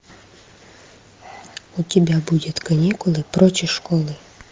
у тебя будет каникулы прочь из школы